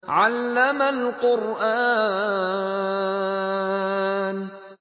عَلَّمَ الْقُرْآنَ